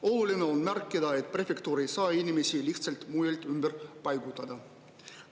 Oluline on märkida, et prefektuur ei saa inimesi lihtsalt mujalt ümber paigutada.